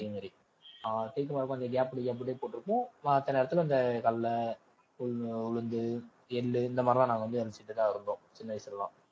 அதே மாதிரி ஆஹ் கொஞ்சம் gap விட்டு gap விட்டு போட்டிருப்போம் மத்த நேரத்துல இந்த கடலை, கொஞ்சம் உளுந்து, எள்ளு இந்த மாதிரி எல்லாம் நாங்க வந்து விதைச்சுட்டுதான் இருந்தோம் சின்ன வயசுல எல்லாம்